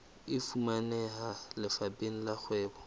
e fumaneha lefapheng la kgwebo